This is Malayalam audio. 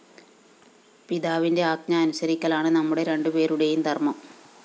പിതാവിന്റെ ആജ്ഞ അനുസരിക്കലാണ് നമ്മുടെ രണ്ടുപേരുടേയും ധര്‍മ്മം